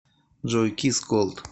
джой кисс колд